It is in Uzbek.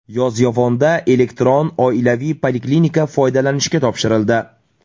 Yozyovonda elektron oilaviy poliklinika foydalanishga topshirildi .